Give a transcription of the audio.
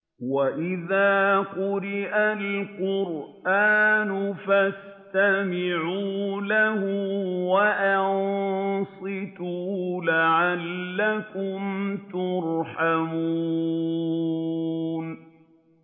وَإِذَا قُرِئَ الْقُرْآنُ فَاسْتَمِعُوا لَهُ وَأَنصِتُوا لَعَلَّكُمْ تُرْحَمُونَ